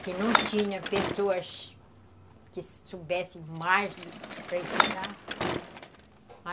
Que não tinha pessoas que soubessem mais para ensinar.